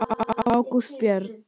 Ágústa Björg.